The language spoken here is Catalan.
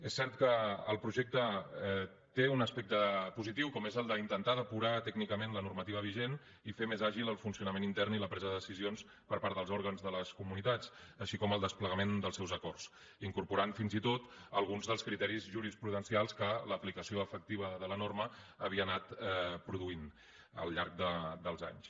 és cert que el projecte té un aspecte positiu com és el d’intentar depurar tècnicament la normativa vigent i fer més àgils el funcionament intern i la presa de decisions per part dels òrgans de les comunitats així com el desplegament dels seus acords i incorpora fins i tot alguns dels criteris jurisprudencials que l’aplicació efectiva de la norma havia anat produint al llarg dels anys